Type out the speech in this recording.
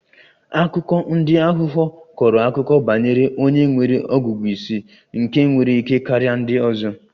Akụkọ ndi aghụghọ kọrọ akụkọ banyere onye nwere ọgụgụ ísì nke nwere ike karia ndị ọzọ